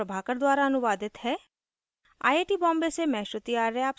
यह स्क्रिप्ट प्रभाकर द्वारा अनुवादित है आई आई टी बॉम्बे से मैं श्रुति आर्य आपसे विदा लेती हूँ